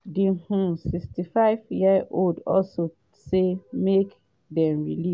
di um 65-year-old also say make dem release